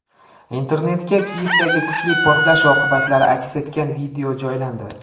Internetga Kiyevdagi kuchli portlash oqibatlari aks etgan video joylandi.